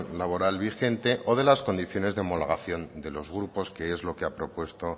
laboral vigente o de las condiciones de la homologación de los grupos que es lo que ha propuesto